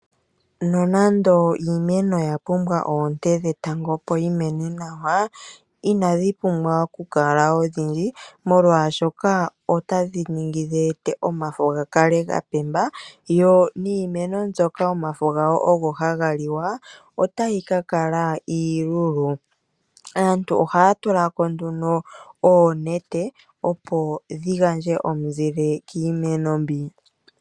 Nonando iimeno oya pumbwa oonte dhetango opo yi mene nawa inadhi pumbwa oku kala odhindji molwaashoka otadhi ningi dheete omafo ga kale ga pemba yo niimeno mbyoka omafo gawo ogo haga liwa otayi ka kala iilulu. Aantu ohaya tula ko nduno oonete opo dhi gandje omuzile kiimeno mbi.